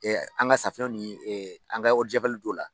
an ka safunɛw ni an ka t'o la.